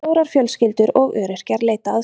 Stórar fjölskyldur og öryrkjar leita aðstoðar